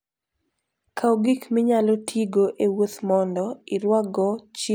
Kaw gik minyalo tigo e wuoth mondo irwakgo chiemo kod gik minyalo chamo sama in e wuoth.